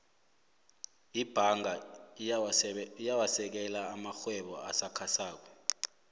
ibhanga iyawasekela amarhwebo asakhasako